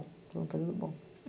Foi um período bom.